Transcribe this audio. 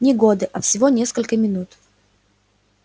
не годы а всего несколько минут